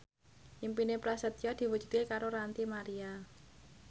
impine Prasetyo diwujudke karo Ranty Maria